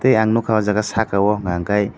tei ang nogkha saka o hingkha kei.